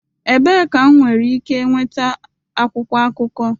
Ebee ka m nwere ike nweta akwụkwọ akụkọ?